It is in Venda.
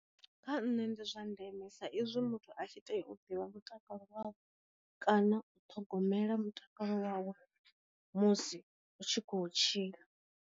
Kha nṋe ndi zwa ndeme sa izwi muthu a tshi tea u ḓivha ndi mutakalo wawe kana u ṱhogomela mutakalo wawe musi u tshi kho tshila.